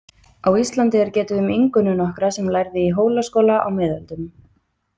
Á Íslandi er getið um Ingunni nokkra sem lærði í Hólaskóla á miðöldum.